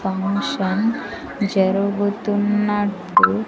function జరుగుతున్నట్టు --